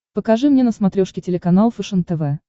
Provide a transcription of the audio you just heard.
покажи мне на смотрешке телеканал фэшен тв